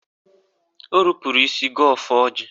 O rupuru isi gọọ ọfọ ọjị.